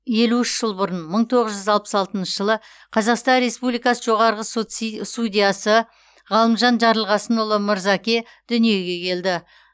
елу үш жыл бұрын мың тоғыз жүз алпыс алтыншы жылы қазақстан республикасы жоғарғы сот судьясы ғалымжан жарылқасынұлы мырзаке дүниеге келді